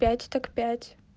пять так пять